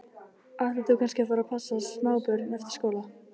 Ætlar þú kannski að fara að passa smábörn eftir skóla?